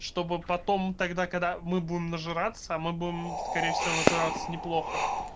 чтобы потом тогда когда мы будем нажраться мы будем скорее всего нажраться неплохо